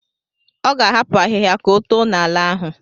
Ọ ga-ahapụ ahịhịa ka oto n'ala ahụ.